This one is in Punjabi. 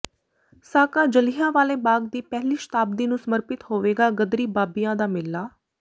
ਸਾਕਾ ਜਲ੍ਹਿਆਂਵਾਲੇ ਬਾਗ਼ ਦੀ ਪਹਿਲੀ ਸ਼ਤਾਬਦੀ ਨੂੰ ਸਮਰਪਿਤ ਹੋਵੇਗਾ ਗਦਰੀ ਬਾਬਿਆਂ ਦਾ ਮੇਲਾ